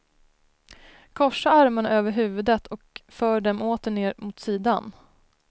Korsa armarna över huvudet och för dem åter ner mot sidan.